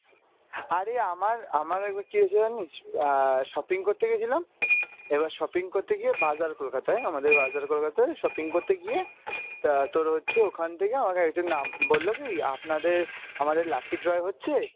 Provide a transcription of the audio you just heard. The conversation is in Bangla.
আরে আমার আমার একবার কী হয়েছিল জানিস? আহ shopping করতে গেছিলাম এবার shopping করতে গিয়ে বাজার কলকাতায় আমাদের বাজার কলকাতায় shopping করতে গিয়ে তা তোর হচ্ছে ওখান থেকে আমাকে একজন নাম বললো কী আপনাদের আমদের lucky draw হচ্ছে